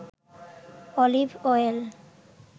olive oil